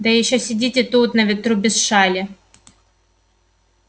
да ещё сидите тут на ветру без шали